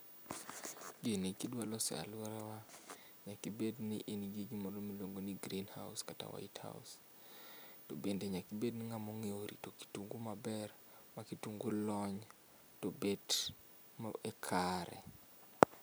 Gini kidwa loso e aluora wa nyaka ibedni in gi gimoro miluongo ni greenhouse kata whitehouse to bende nyaka ibed ngama onge rito kitungu maber ma kitungu lony to bet ma e kare